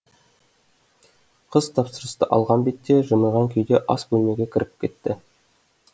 қыз тапсырысты алған бетте жымиған күйде ас бөлмеге кіріп кетті